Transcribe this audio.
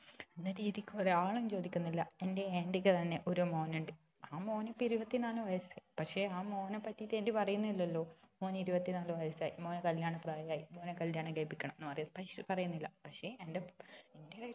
എന്ന രീതിക്ക് ഒരാളും ചോദിക്കുന്നില്ല എന്റെ aunty ക്ക് തന്നെ ഒരു മോൻ ഉണ്ട് ആ മോൻ ഇപ്പൊ ഇരുപത്തി നാല് വയസായി പക്ഷെ ആ മോനെ പറ്റിട്ട് aunty പറയുന്നില്ലലോ മോന് ഇരുപത്തി നാല് വയസായി മോന് കല്യാണ പ്രായം ആയി മോനെ കല്യാണം കഴിപ്പിക്കണം എന്ന് പറയും പ പറയുന്നില്ല പക്ഷെ എന്റെ